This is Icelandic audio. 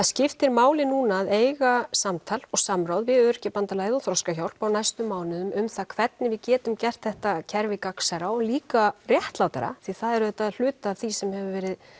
skiptir máli núna að eiga samtal og samráð við Öryrkjabandalagið og Þroskahjálp á næstu mánuðum um það hvernig við getum gert þetta kerfi gagnsærra og líka réttlátara því það er auðvitað hluti af því sem hefur verið